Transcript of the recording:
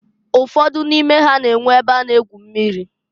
Ụfọdụ n'ime ha na-enwe e be a na-egwu mmiri.